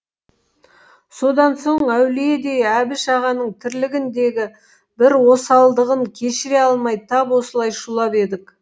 содан соң әулиедей әбіш ағаның тірлігіндегі бір осалдығын кешіре алмай тап осылай шулап едік